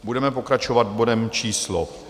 Budeme pokračovat bodem číslo